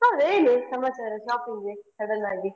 ಹೌದಾ ಏನು ಸಮಾಚಾರ shopping ಗೆ sudden ಆಗಿ?